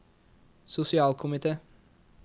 sosialkomite